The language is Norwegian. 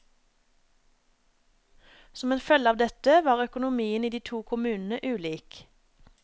Som en følge av dette var økonomien i de to kommunene ulik.